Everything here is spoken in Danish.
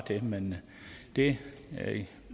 det men det